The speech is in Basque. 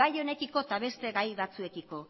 gai honekiko eta beste gai batzuekiko